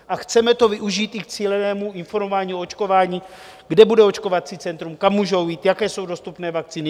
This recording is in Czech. A chceme to využít i k cílenému informování o očkování, kde bude očkovací centrum, kam můžou jít, jaké jsou dostupné vakcíny.